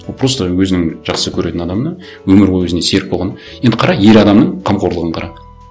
ол просто өзінің жақсы көретін адамына өмір бойы өзіне серік болған енді қара ер адамның қомқорлығын қара